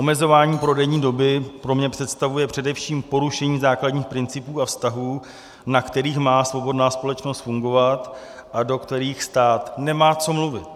Omezování prodejní doby pro mě představuje především porušení základních principů a vztahů, na kterých má svobodná společnost fungovat a do kterých stát nemá, co mluvit.